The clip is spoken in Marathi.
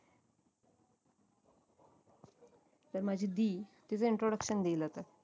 तर माझी दि तिझ introduction देईल आता